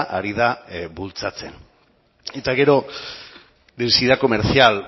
ari da bultzatzen eta gero densidad comercial